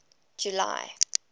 july